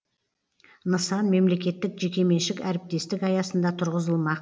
нысан мемлекеттік жекеменшік әріптестік аясында тұрғызылмақ